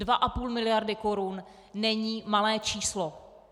Dvě a půl miliardy korun není malé číslo!